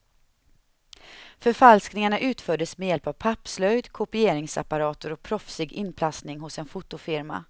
Förfalskningarna utfördes med hjälp av pappslöjd, kopieringsapparater och proffsig inplastning hos en fotofirma.